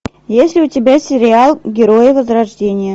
есть ли у тебя сериал герои возрождения